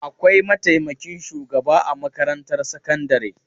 Akwai mataimakin shugaba a makarantar sakandare.